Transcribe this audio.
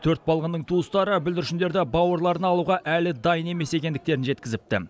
төрт балғынның туыстары бүлдіршіндерді бауырларына алуға әлі дайын емес екендіктерін жеткізіпті